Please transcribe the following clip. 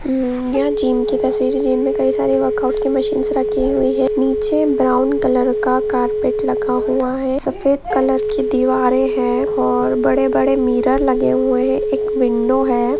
ये जीम की तस्वीर है जीम में कई सारी वर्कआउट की मशीन से रखी हुई है नीचे ब्राउन कलर का कारपेट लगा हुआ है सफेद कलर की दीवारें हैं और बड़े-बड़े मीरा लगे हुए हैं एक विंडो है|